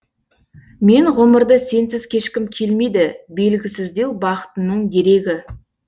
мен ғұмырды сенсіз кешкім келмейді белгісіздеу бақытының дерегі